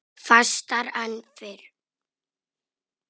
Fastar en fyrr.